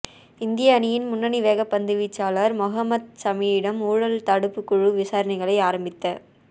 இந்திய அணியின் முன்னணி வேகப்பந்து வீச்சாளர் மொஹம்மட் ஷமியிடம் ஊழல் தடுப்புக் குழு விசாரணைகளை ஆரம்பித